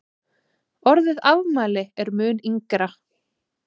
orðið afmæli er mun yngra